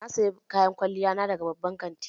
Na sayi kayan kwalliya na daga babban kanti